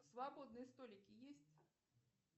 свободные столики есть